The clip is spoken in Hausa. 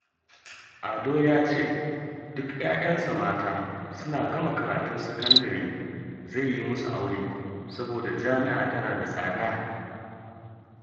Ado ya ce duk 'ya'yansa mata suna gama karatun sakandare zai yi musu aure, saboda jami'a tana da tsada